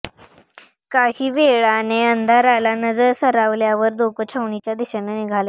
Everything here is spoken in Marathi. काही वेळाने अंधाराला नजर सरावल्यावर दोघं छावणीच्या दिशेने निघाले